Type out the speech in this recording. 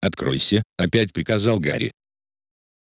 откройся опять приказал гарри